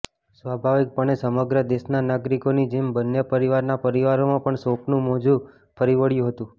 સ્વાભાવિકપણે સમગ્ર દેશના નાગરિકોની જેમ બંને પરિવારના પરિવારોમાં પણ શોકનું મોજું ફરી વળ્યું હતું